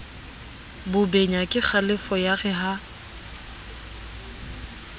bobenya kekgalefo ya re ha